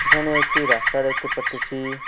এখানে একটি রাস্তা দেখতে পারতেছি।